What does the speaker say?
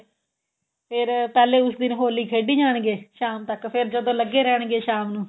ਫੇਰ ਪਹਿਲੇ ਉਸ ਦਿਨ ਹੋਲੀ ਖੇਡੀ ਜਾਣਗੇ ਸ਼ਾਮ ਤੱਕ ਫੇਰ ਜਦੋਂ ਲੱਗੇ ਰਹਿਣਗੇ ਸ਼ਾਮ ਨੂੰ